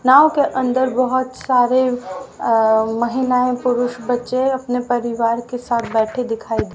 नाव के अंदर बहोत सारे अ महिलाएं और पुरुष बच्चे अपने परिवार के साथ बैठे दिखाई--